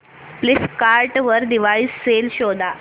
Flipkart वर Diwali sale शोधा